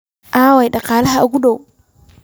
Aaway dhaqaalaha ugu dhow?